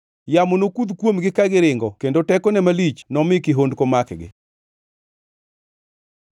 Yamo nokudh kuomgi ka giringo kendo tekone malich nomi kihondko makgi.”